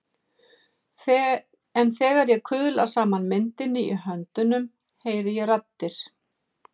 En þegar ég kuðla saman myndinni í höndunum heyri ég raddir.